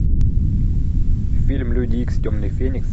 фильм люди икс темный феникс